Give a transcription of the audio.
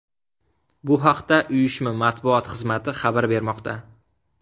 Bu haqda uyushma matbuot xizmati xabar bermoqda .